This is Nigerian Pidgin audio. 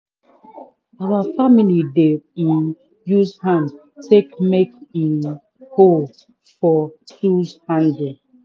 our family dey um use hand take make um hole for tools handle